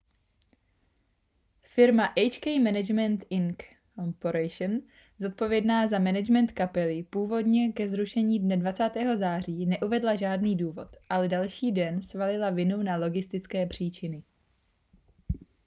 firma hk management inc zodpovědná za management kapely původně ke zrušení dne 20. září neuvedla žádný důvod ale další den svalila vinu na logistické příčiny